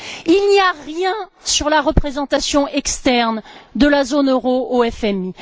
Il n'y a rien sur la représentation externe de la zone euro au FMI.